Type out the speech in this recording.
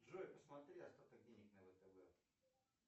джой посмотри остаток денег на втб